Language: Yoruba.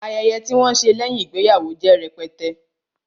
Ayẹyẹ tí wọn ṣe lẹ́yìn ìgbéyàwó jẹ́ rẹpẹtẹ